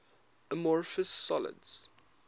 amorphous solids